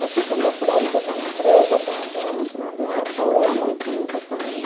Você que andou por aí, quer dizer, uma empresa dando dando esse apoio é muito importante.